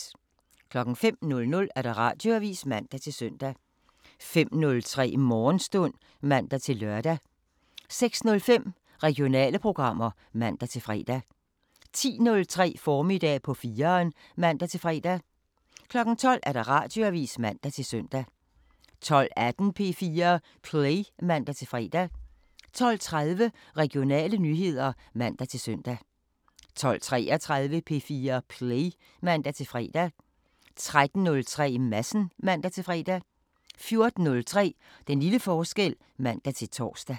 05:00: Radioavisen (man-søn) 05:03: Morgenstund (man-lør) 06:05: Regionale programmer (man-fre) 10:03: Formiddag på 4'eren (man-fre) 12:00: Radioavisen (man-søn) 12:18: P4 Play (man-fre) 12:30: Regionale nyheder (man-søn) 12:33: P4 Play (man-fre) 13:03: Madsen (man-fre) 14:03: Den lille forskel (man-tor)